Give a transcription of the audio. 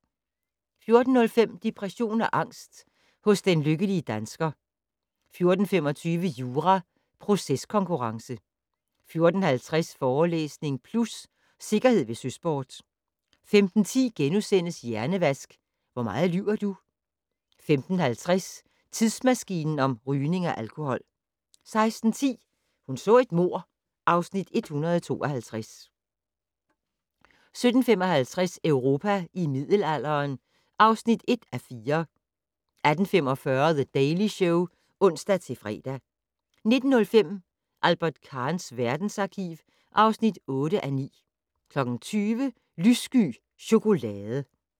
14:05: Depression og angst hos den lykkelige dansker 14:25: Jura - proceskonkurrence 14:50: Forelæsning Plus - Sikkerhed ved søsport 15:10: Hjernevask - Hvor meget lyver du? * 15:50: Tidsmaskinen om rygning og alkohol 16:10: Hun så et mord (Afs. 152) 17:55: Europa i middelalderen (1:4) 18:45: The Daily Show (ons-fre) 19:05: Albert Kahns verdensarkiv (8:9) 20:00: Lyssky chokolade